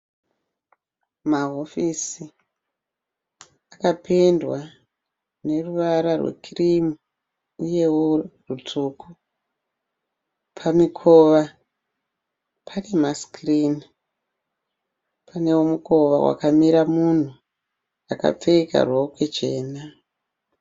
Mahofisi, akapendwa neruvara rwe kirimu uyewo hwutsvuku. Pamikova pane masikirini. Panewo mukova wakamira munhu akapfeka rokwe jena.